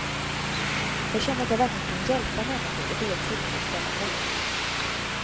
Jag känner att jag verkligen kan hjälpa människor och det är tillfredsställande.